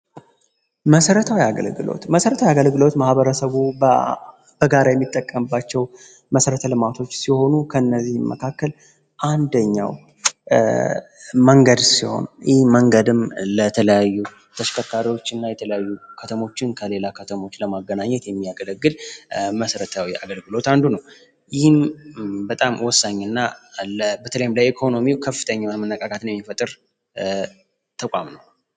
መሰረታው አገልግለዎት ማህበረሰጉ በጋር የሚጠቀንባቸው መሠረተ ለማቶች ሲሆኑ ከእነዚህ መካከል አንደኛው መንገድ ሲሆም ይህ መንገድም ለተለያዩ ተሽከካሪዎች እና የተለያዩ ከተሞችን ከሌላ ከተሞች ለማገናኘት የሚያገለግል መሰረታዊ አገልግሎት አንዱ ነው። ይህን በጣም ወሳኝ እና በተለይም ላይ ኢኮኖሚው ከፍተኛው የመነቃካትን የሚፈጥር ተቋም ነው።